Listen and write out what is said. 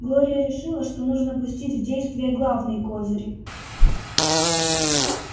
глория решила что нужно пустить в действие главный козырь